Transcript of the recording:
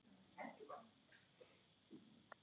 Og Guð.